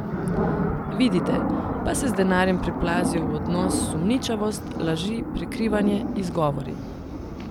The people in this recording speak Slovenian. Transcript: Vidite, pa se z denarjem priplazijo v odnos sumničavost, laži, prikrivanje, izgovori.